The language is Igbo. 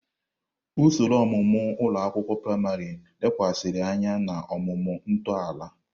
Usoro ọmụmụ ụlọ akwụkwọ praịmarị lekwasịrị anya na ọmụma ntọala.